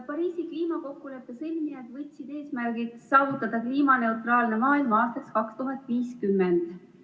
Pariisi kliimakokkuleppe sõlmijad võtsid eesmärgiks saavutada kliimaneutraalne maailm aastaks 2050.